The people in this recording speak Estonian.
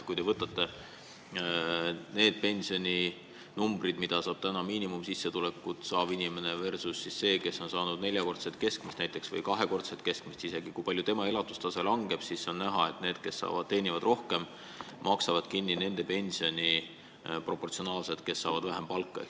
Kui te võtate selle pensioni, mida saab miinimumsissetulekut saanud inimene, ja võrdlete seda pensioniga, mida saab näiteks kahekordset või neljakordset keskmist palka saanud inimene, siis te näete, et need, kes teenivad rohkem, maksavad kinni ka nende pensioni, kes saavad vähem palka.